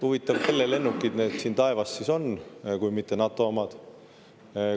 Huvitav, kelle lennukid need siin taevas siis on kui mitte NATO omad?